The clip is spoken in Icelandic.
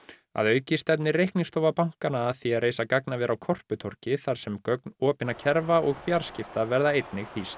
að auki stefnir bankanna að því að reisa gagnaver á Korputorgi þar sem gögn opinna kerfa og fjarskipta verða hýst